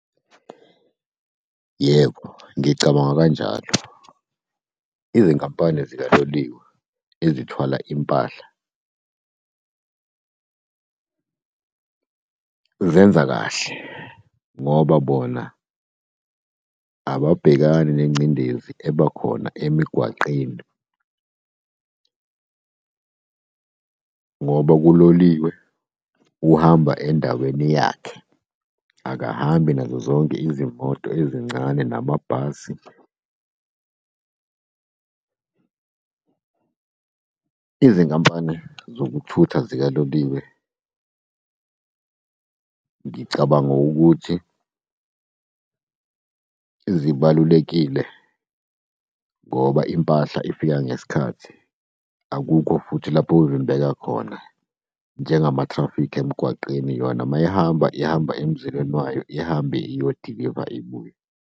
Yebo, ngicabanga kanjalo, izinkampani zikaloliwe ezithwala impahla, zenza kahle ngoba bona ababhekani nengcindezi eba khona emigwaqeni ngoba kuloliwe uhamba endaweni yakhe, akahambi nazo zonke izimoto ezincane namabhasi. Izinkampani zokuthutha zikaloliwe, ngicabanga ukuthi zibalulekile ngoba impahla ifika ngesikhathi akukho futhi lapho okuvimbeka khona njengama-traffic emgwaqeni yona mayihamba ihamba emzileni wayo, ihambe iyo diliva ibuye.